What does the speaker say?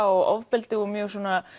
og ofbeldi og mjög